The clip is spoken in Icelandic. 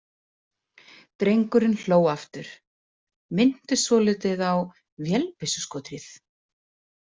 Drengurinn hló aftur, minnti svolítið á vélbyssuskothríð.